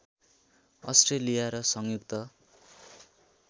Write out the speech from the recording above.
Australia र संयुक्त